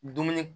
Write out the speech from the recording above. Dumuni